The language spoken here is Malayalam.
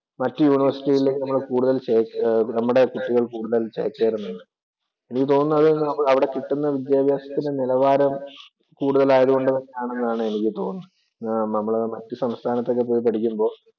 മറ്റു യൂണിവേഴ്സികളിലേക്ക് ചേക്കേ നമ്മുടെ കുട്ടികള്‍ കൂടുതല്‍ ചേക്കേറുന്നുണ്ട്. എനിക്ക് തോന്നുന്നേ അവിടെ കിട്ടുന്ന വിദ്യാഭ്യാസത്തിന്‍റെ നിലവാരം കൂടുതല്‍ ആയതുകൊണ്ടാണെന്നാണ് എനിക്ക് തോന്നുന്നത്. നമ്മള് മറ്റ് സംസ്ഥാനത്തൊക്കെ പോയി പഠിക്കുമ്പോൾ